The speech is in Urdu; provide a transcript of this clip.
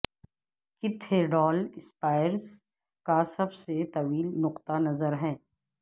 کیتھیڈال اسپائرز کا سب سے طویل نقطہ نظر ہے